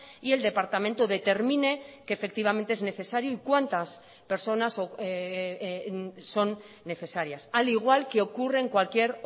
y el departamento determine que efectivamente es necesario y cuántas personas son necesarias al igual que ocurre en cualquier